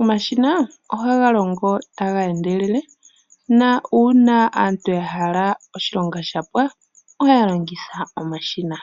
Omashina oha ga longo taga endelele, na una aantu ya hala oshilonga shapwa, oya longitha omashina.